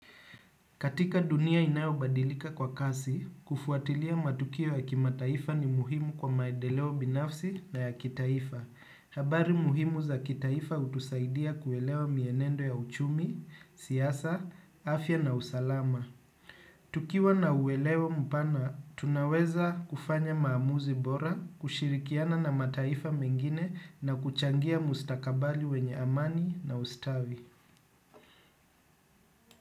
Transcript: Katika dunia inayobadilika kwa kasi, kufuatilia matukio ya kimataifa ni muhimu kwa maedeleo binafsi na ya kitaifa. Habari muhimu za kitaifa hutusaidia kuelewa mienendo ya uchumi, siasa, afya na usalama. Tukiwa na uwelewa mpana, tunaweza kufanya maamuzi bora, kushirikiana na mataifa mengine na kuchangia mustakabali wenye amani na ustawi.